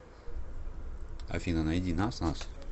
афина найди нас нас